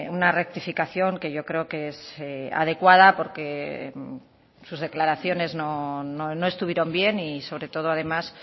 una rectificación que yo creo que es adecuada porque sus declaraciones no estuvieron bien y sobre todo además